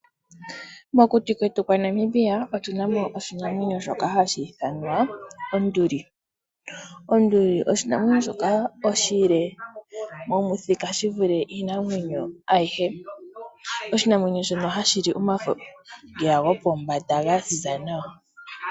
Mokuti kwetu kwa Namibia otu na mo oshinamwenyo shoka hashi ithanwa onduli. Onduli oshinamwenyo shoka oshile momuthika shi vule iinamwenyo ayihe. Oshinamwenyo shono hashi li omafo ngeya gopombanda ga ziza nawa.